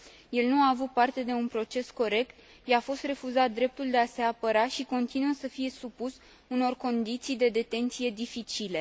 El nu a avut parte de un proces corect, i a fost refuzat dreptul de a se apăra și continuă să fie supus unor condiții de detenție dificile.